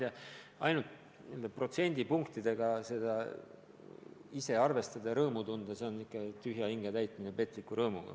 No ma ei tea, ainult lisanduvate protsentidega seda kõike ise arvestada ja rõõmu tunda, see on ikka tühja hinge täitmine petliku rõõmuga.